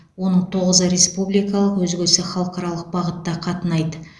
оның тоғызы республикалық өзгесі халықаралық бағытта қатынайды